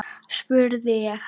spurði ég hann.